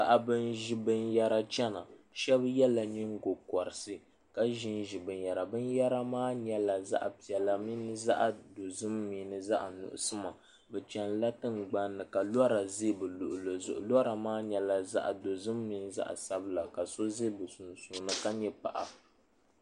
Paɣaba n ʒi binyɛra chɛna shab yɛla nyingokoriti ka ʒinʒi binyɛra binyɛra maa zaɣ piɛla mini zaɣ dozim mini zaɣ nuɣso bi chɛnila tingbanni ka lora ʒi bi luɣuli zuɣu lora maa nyɛla zaɣ dozim mini zaɣ sabila ka so ʒɛ di sunsuuni ka nyɛ paɣa